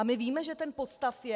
A my víme, že ten podstav je.